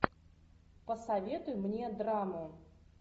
посоветуй мне драму